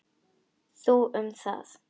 Þú um það.